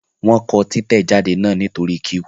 Wọ́n kọ títẹ̀jáde náà nítorí q